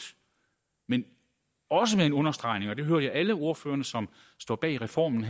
men også en understregning af og det hører jeg alle ordførerne som står bag reformen